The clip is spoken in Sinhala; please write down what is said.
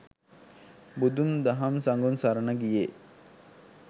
බුදුන්, දහම්, සඟුන් සරණ ගියේ